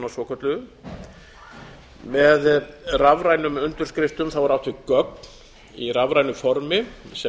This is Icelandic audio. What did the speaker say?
þjónustutilskipunina svokölluðu með rafrænum undirskriftum er átt við gögn í rafrænu formi sem